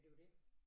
Ja det jo det